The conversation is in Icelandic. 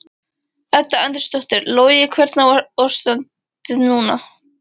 Edda Andrésdóttir: Logi hvernig er ástandið núna?